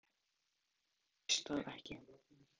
Það hef ég ekki hugmynd um, veist þú það ekki?